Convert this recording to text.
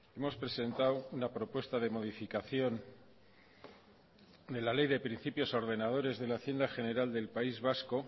hemos presentado una propuesta de modificación de la ley de principios ordenadores de la hacienda general del país vasco